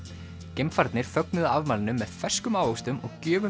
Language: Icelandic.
geimfararnir fögnuðu afmælinu með ferskum ávöxtum og gjöfum